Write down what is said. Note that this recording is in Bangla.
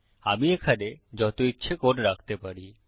আমি এখানে যত ইচ্ছে কোড রাখতে পারি